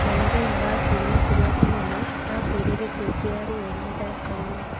"Na mũthenya wa Kiumia Kĩrĩa Kĩnene, aakuire gĩkuũ kĩa ruo mũtharaba-inĩ.